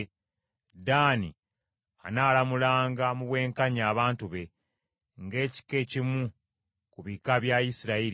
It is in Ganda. Ddaani anaalamulanga mu bwenkanya abantu be ng’ekika ekimu ku bika bya Isirayiri.